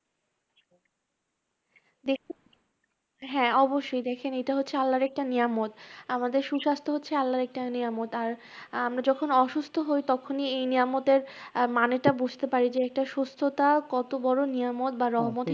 দেখি হ্যাঁ অবশ্যই দেখেন, এটা হচ্ছে আল্লাহর একটা নিয়ামত, আমাদের সুস্বাস্থ্য হচ্ছে আল্লাহর একটা নিয়ামত আর আমরা যখন অসুস্থ হই তখনই এই নিয়ামতের আহ মানেটা বুঝতে পারি যে একটা সুস্থতা কত বড় নিয়ামত বা রহমত